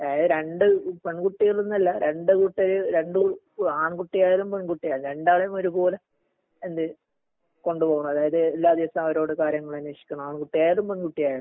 അതായത് രണ്ട് പെൺകുട്ടികളെന്നല്ല രണ്ട് കൂട്ടര് രണ്ട് ആൺകുട്ടി ആയാലും, പെൺകുട്ടി ആയാലും രണ്ടാളേം ഒരുപോലെ എന്ത് കൊണ്ടുപോവണം അതായത് എല്ലാ ദിവസവും അവരോട് കാര്യങ്ങള് അന്വേഷിക്കണം ആൺകുട്ടി ആയാലും പെൺകുട്ടി ആയാലും